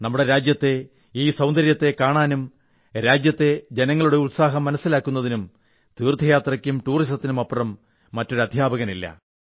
നമ്മുടെ രാജ്യത്തെ ഈ സൌന്ദര്യത്തെ കാണാനും രാജ്യത്തെ ജനങ്ങളുടെ ഉത്സാഹം മനസ്സിലാക്കുന്നതിനും തീർഥയാത്രയ്ക്കും ടൂറിസത്തിനുമപ്പുറം മറ്റൊരു അധ്യാപകനില്ല